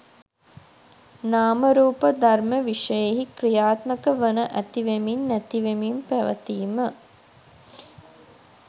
නාම රූප ධර්ම විෂයෙහි ක්‍රියාත්මක වන ඇති වෙමින්, නැතිවෙමින් පැවතීම